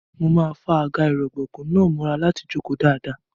Mo máa fa àga-ìrọ̀gbọ̀kú náà mọ́ra láti jókòó dáadáa.